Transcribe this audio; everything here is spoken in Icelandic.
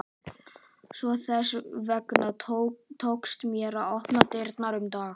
Svo þess vegna tókst þér að opna dyrnar um dag